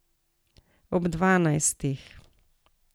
Ob dvanajstih.